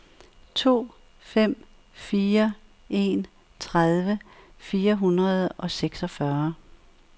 to fem fire en tredive fire hundrede og seksogfyrre